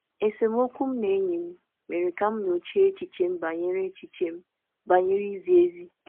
Esemokwu m na enyi m mere ka m nyochaa echiche m banyere izi ezi.